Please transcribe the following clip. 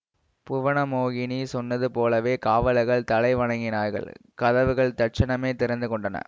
புவனமோகினி சொன்னது போலவே காவலர்கள் தலை வணங்கினார்கள் கதவுகள் தட்சணமே திறந்து கொண்டன